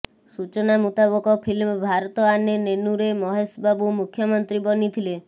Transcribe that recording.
ସୂଚନା ମୁତାବକ ଫିଲ୍ମ ଭାରତ ଆନେ ନେନୁରେ ମହେଶ ବାବୁ ମୁଖ୍ୟମନ୍ତ୍ରୀ ବନିଥିଲେ